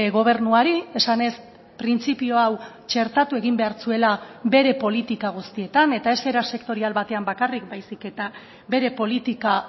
gobernuari esanez printzipio hau txertatu egin behar zuela bere politika guztietan eta ez era sektorial batean bakarrik baizik eta bere politika